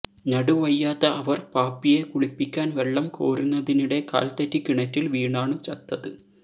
നടുവയ്യാത്ത അവർ പാപ്പിയെ കുളിപ്പിക്കാൻ വെള്ളം കോരുന്നതിനിടെ കാൽതെറ്റി കിണറ്റിൽ വീണാണു ചത്തത്